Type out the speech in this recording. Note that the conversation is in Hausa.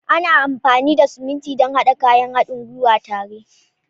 Ana amfani da siminti don haɗa kayan haɗin gwiwa tare.